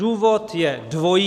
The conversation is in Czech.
Důvod je dvojí.